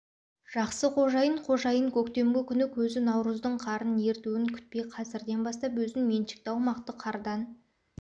жақсы қожайын қожайын көктемгі күні көзі наурыздың қарын ертуін күтпей қәзірден бастап өзін меншікті аумақты қардан